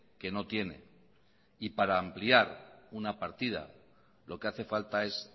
que no tiene y para ampliar una partida lo que hace falta es